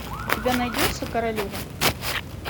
у тебя найдется королева